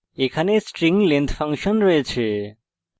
এখানে string length length function রয়েছে